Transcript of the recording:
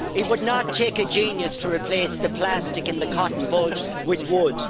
It would not take a genius to replace the plastic in the cotton bud with wood.